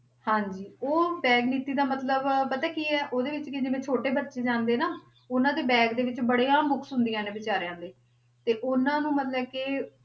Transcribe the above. ਹਾਂਜੀ ਉਹ bag ਨੀਤੀ ਦਾ ਮਤਲਬ ਪਤਾ ਕੀ ਹੈ, ਉਹਦੇ ਵਿੱਚ ਕੀ ਆ ਜਿਵੇਂ ਛੋਟੇ ਬੱਚੇ ਜਾਂਦੇ ਆ ਨਾ, ਉਹਨੇ ਦੇ bag ਦੇ ਵਿੱਚ ਬੜੀਆਂ books ਹੁੰਦੀਆਂ ਨੇ ਬੇਚਾਰਿਆਂ ਦੇ, ਤੇ ਉਹਨਾਂ ਨੂੰ ਮਤਲਬ ਕਿ